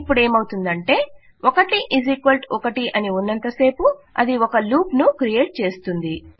ఇపుడు ఏమవుతుందంటే 11 అని ఉన్నంతసేపు అది ఒక లూప్ ను క్రియేట్ చేస్తుంది